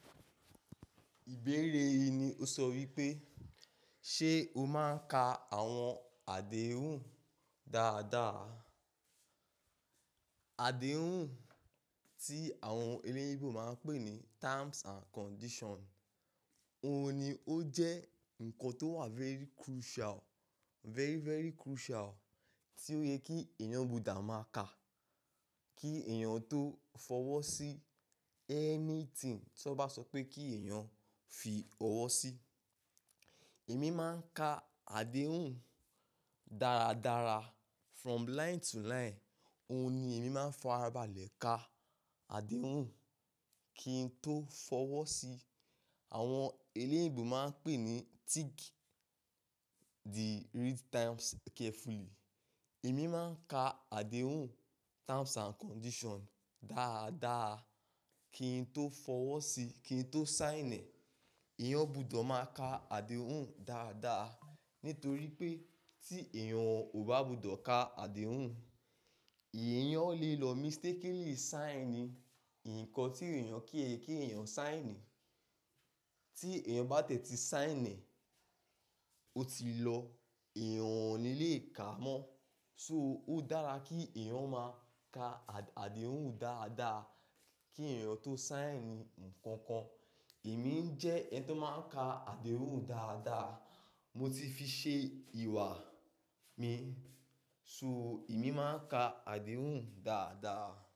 Ìbéere yìí ni ó sọ wípé, ṣe o máa ń ka àwọn àdéhùn dáadáa? Àdéhùn tí àwọn eléèbò máa ń pè ní terms and condition. Óun ni ó jẹ́ ǹkan tó wà very crucial, very, very crucial tí ó yẹ kí èèyàn gbọdọ̀ máa ka kí èèyàn tó fọwọ́ sí anything tí wọ́n bá sọ pé kí èèyàn fi ọwọ́ sí. Èmi máa ń ka àdéhùn dáradára from line to line. Óun ni èmi máa ń farabalẹ̀ ka àdéhùn kí n tó fọwọ́ sí. Àwọn eléèyinbò máa ń pè ní tick the read terms carefully. Èmi máa ń ka àdéhùn terms and condition dáadáa kí n tó fọwọ́ sí, kí n tó sign. Ẹ̀yàn gbọdọ̀ máa ka àdéhùn dáadáa nítorí pé tí èèyàn kò bá gbọdọ̀ ka àdéhùn, èèyàn lè lọ mistakenly sign ní ǹkan tí èèyàn kíì kí èèyàn sign. Tí èèyàn bá tètè sign, ó ti lọ, èèyàn ò ní lè kà á mọ́. So, ó dára kí èèyàn máa ka àdéhùn dáadáa kí èèyàn tó sign ǹkan kan. Èmi ń jẹ́ ẹni tó máa ń ka àdéhùn dáadáa. Mo ti fi ṣe ìwà mi. So, èmi máa ń ka àdéhùn dáadáa.